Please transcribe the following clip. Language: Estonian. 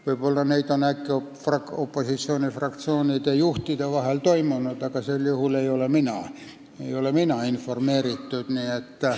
Kui neid on opositsioonifraktsioonide juhtide vahel toimunud, siis sel juhul ei ole mind neist informeeritud.